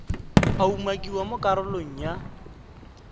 a umakiwang mo karolong ya